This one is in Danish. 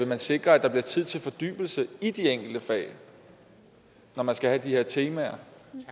man sikre at der bliver tid til fordybelse i de enkelte fag når man skal have de her temaer